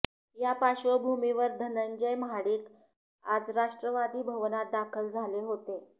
या पार्श्वभूमीवर धनंजय महाडिक आज राष्ट्रवादी भवनात दाखल झाले होते